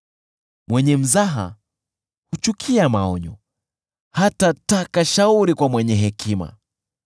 Mwenye mzaha huchukia maonyo; hatataka shauri kwa mwenye hekima.